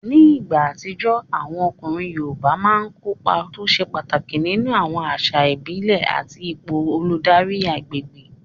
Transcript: Ní ìgbà àtijọ́, àwọn ọkùnrin yoòbá máa n kópa tó ṣe pàtàkì nínú àwọn àṣà ìbílẹ̀ àti ipò olùdarí agbègbè